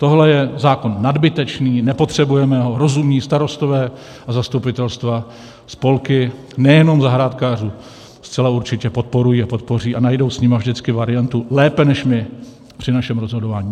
Tohle je zákon nadbytečný, nepotřebujeme ho, rozumní starostové a zastupitelstva spolky nejenom zahrádkářů zcela určitě podporují a podpoří a najdou s nimi vždycky variantu lépe než my při našem rozhodování.